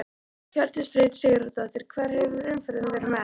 Hjördís Rut Sigurjónsdóttir: Hvar hefur umferðin verið mest?